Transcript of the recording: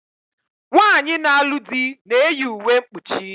Nwaanyi na-alu di na-eyi uwe mkpuchi